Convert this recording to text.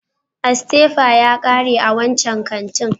Asteyper ya kare a wancan kantin.